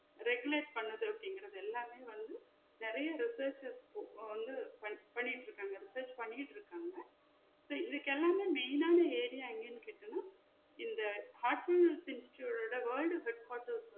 Regulate பண்ணுது அப்டின்குற எல்லாத்தையும் வந்து நெறையா researches போக வந்து பண்~ பண்ணிட்டு இருக்காங்க research பண்ணிக்கிட்டு இருக்காங்க so இதுக்கு எல்லாமே main ஆனா area எங்கன்னு கேட்டிங்கான இந்த heartfullness institute ஓட world web